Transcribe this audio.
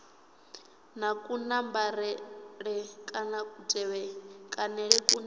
na kunambarele kana kutevhekanele kune